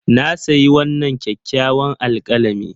Na sayi wannan kyakkyawan alkalami.